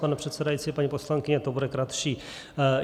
Pane předsedající, paní poslankyně, to bude kratší.